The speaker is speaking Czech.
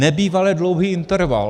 Nebývale dlouhý interval.